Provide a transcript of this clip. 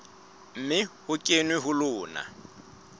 mme ho kenwe ho lona